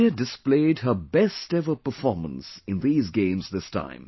India displayed her best ever performance in these games this time